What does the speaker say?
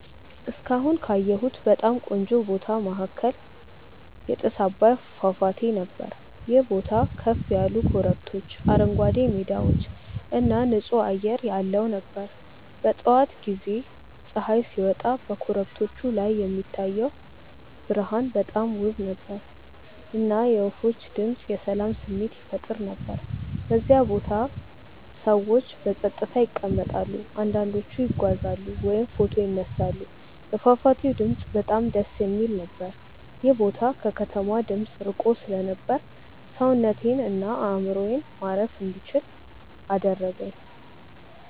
እስካሁን ካየሁት በጣም ቆንጆ ቦታ መካከል የጥስ አባይ ፏፏቴ ነበር። ይህ ቦታ ከፍ ያሉ ኮረብቶች፣ አረንጓዴ ሜዳዎች እና ጥሩ ንፁህ አየር ያለው ነበር። በጠዋት ጊዜ ፀሐይ ሲወጣ በኮረብቶቹ ላይ የሚታየው ብርሃን በጣም ውብ ነበር፣ እና የወፎች ድምፅ የሰላም ስሜት ይፈጥር ነበር። በዚያ ቦታ ሰዎች በጸጥታ ይቀመጣሉ፣ አንዳንዶቹ ይጓዛሉ ወይም ፎቶ ይነሳሉ። የፏፏቴው ድምፅ በጣም ደስ የሚል ነበር። ይህ ቦታ ከከተማ ድምፅ ርቆ ስለነበር ሰውነቴን እና አእምሮዬን ማረፍ እንዲችል አደረገኝ።